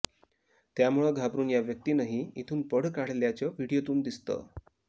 त्यामुळं घाबरुन या व्यक्तीनंही इथून पळ काढल्याचं व्हिडीओतून दिसतं